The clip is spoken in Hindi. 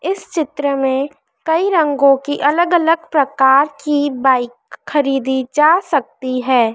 इस चित्र में कई रंगों की अलग अलग प्रकार की बाइक खरीदी जा सकती है।